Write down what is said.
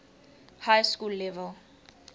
high school level